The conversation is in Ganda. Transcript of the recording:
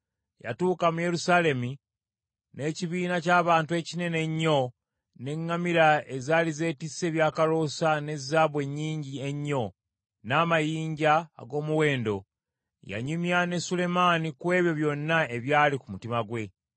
Yatuuka mu Yerusaalemi, n’ekibiina ky’abantu ekinene ennyo, n’eŋŋamira ezaali zeetisse ebyakaloosa, ne zaabu ennyingi ennyo, n’amayinja ag’omuwendo. Yanyumya ne Sulemaani ku ebyo byonna ebyali ku mutima gwe.